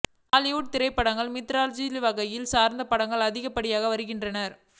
Hollywood திரைப்படங்களில் mythological வகையை சார்ந்த படங்கள் அதிகப்படியாக வருகின்றன